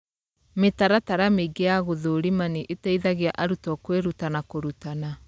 Mĩtaratara mĩingĩ ya gũthũrima nĩ ĩteithagia arutwo kwĩruta na kũrutana.